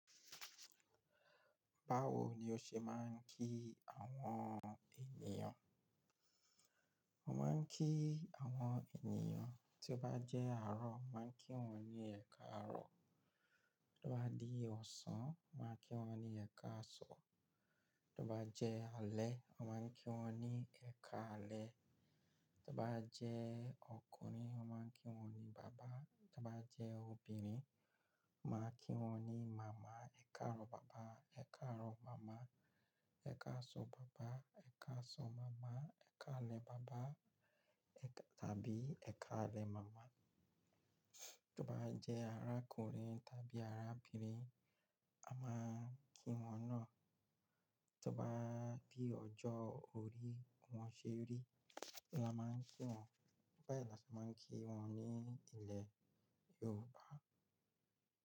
Báwo ni o ṣe máa ń kí àwọn ènìyàn? Mo máa ń kí àwọn ènìyàn, tí ó bá jẹ́ àárọ̀, mo màá kí wọ́n ní ẹ káàárọ̀. Tí ó bá di ọ̀sán, màá kí wọ́n ní ẹ káàsan. Tí ó bá jẹ́ alẹ́, mo màá n kí wọ́n ní ẹ káalẹ́. Tí ó bá jẹ́ ọkùnrin, mo màá n kí wọ́n ní bàbá, tí ó bá jẹ́ obìnrin, mo màá n kí wọ́n ní màmá. Ẹ káàárọ̀ bàbá, Ẹ káàárọ̀ màmá, Ẹ káàsan bàbá, Ẹ káàsan màmá, Ẹ káalẹ́ bàbá, tàbí Ẹ káalẹ́ màmá. Tí ó bá jẹ́ arákùnrin tàbí arábìnrin, a máa ń kí wọ́n náà. Tí ó bá di ọjọ́ orí, wọn ṣé rí, ni a máa ń kí wọ́n. Báyi là ti a máa ń kí wọ́n ní ilẹ̀ Yorùbá.